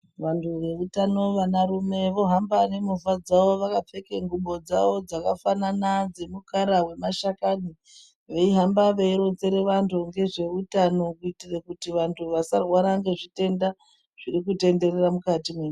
Vantu veutano vanarume vohamba nemovha dzavo vakapfeke ngubo dzavo dzakafanana dzemukara wemashakani. Veihamba veironzere vantu ngezveutano kuitire kuti vantu vasarwara ngezvitenda zvirikutenderera mukati menyi...